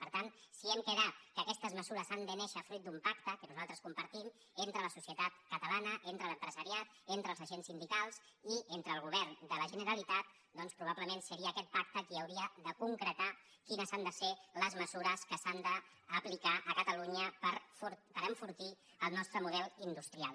per tant si hem quedat que aquestes mesures han de néixer fruit d’un pacte que nosaltres compartim entre la societat catalana entre l’empresariat entre els agents sindicals i entre el govern de la generalitat doncs probablement seria aquest pacte qui hauria de concretar quines han de ser les mesures que s’han d’aplicar a catalunya per enfortir el nostre model industrial